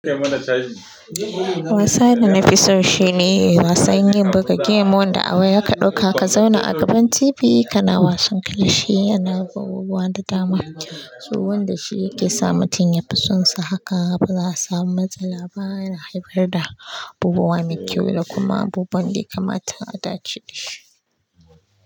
Wasani nafi so shine wasan yin buga game wanda a waya ka ɗauka ka zauna a gaban TV kana wasan kilashi yana da abubuwan da dama. Su wanda shi yake sa mutum ya fi sonsa haka ba za su samu matsala ba yana haifar da abubuwa mai kyau da kuma abubuwan ɗaya kamata a dace da shi.